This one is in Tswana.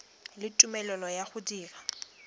le tumelelo ya go dira